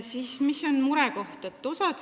Mis on veel murekoht?